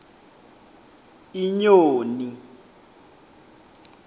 inyoni